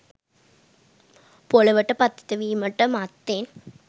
පොළොවට පතිත වීමට මත්තෙන්